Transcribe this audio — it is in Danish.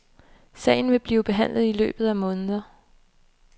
Sagen vil blive behandlet i løbet af måneder.